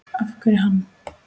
Af hverju hann?